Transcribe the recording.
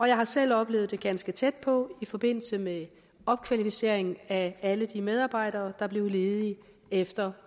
jeg selv oplevet ganske tæt på i forbindelse med opkvalificeringen af alle de medarbejdere der blev ledige efter